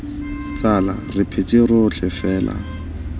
tsala re phetse rotlhe fela